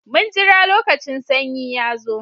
Mun jira lokacin sanyi ya zo.